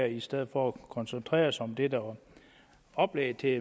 i stedet for at koncentrere sig om det der var oplægget i